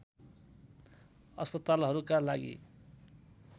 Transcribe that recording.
अस्पतालहरूका लागि